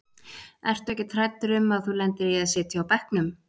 Ertu ekkert hræddur um að þú lendir í að sitja á bekknum?